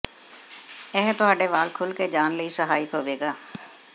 ਇਹ ਤੁਹਾਡੇ ਵਾਲ ਖੁੱਲ੍ਹ ਕੇ ਜਾਣ ਲਈ ਸਹਾਇਕ ਹੋਵੇਗਾ